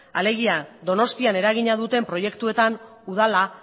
alegia donostian eragina duten proiektuetan udala